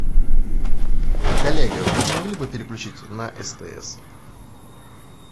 коллега вы не могли бы переключить на стс